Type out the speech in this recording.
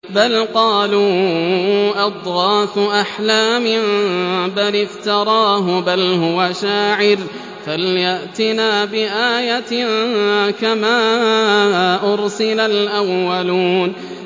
بَلْ قَالُوا أَضْغَاثُ أَحْلَامٍ بَلِ افْتَرَاهُ بَلْ هُوَ شَاعِرٌ فَلْيَأْتِنَا بِآيَةٍ كَمَا أُرْسِلَ الْأَوَّلُونَ